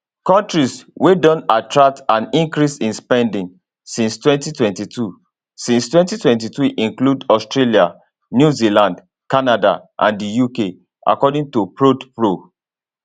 kontris wey don attract an increase in spending since 2022 since 2022 include australia new zealand canada and the uk according to prodpro